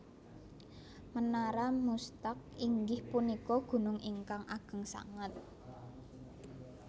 Menara Muztagh inggih punika gunung ingkang ageng sanget